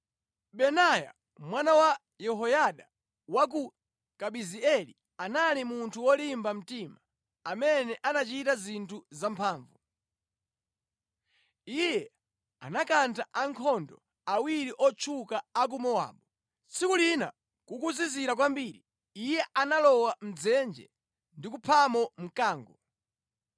Benaya mwana wa Yehoyada wa ku Kabizeeli anali munthu wolimba mtima amene anachita zinthu zamphamvu. Iye anakantha ankhondo awiri otchuka a ku Mowabu. Tsiku lina kukuzizira kwambiri, iye analowa mʼdzenje ndi kuphamo mkango.